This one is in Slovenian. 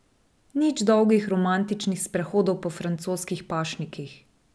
Nič dolgih romantičnih sprehodov po francoskih pašnikih.